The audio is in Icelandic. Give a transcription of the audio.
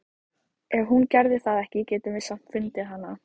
Ef hún gerði það ekki getum við samt fundið hana.